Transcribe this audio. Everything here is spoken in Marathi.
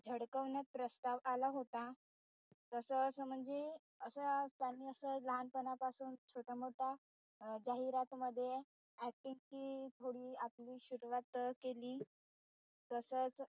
झडकवण्यात प्रस्ताव आला होता तस असं म्हणजे त्यांनी असं लहानपनापासून छोटा मोठा जाहिरात मध्ये acting ची थोडी आपली शुरुवात केली.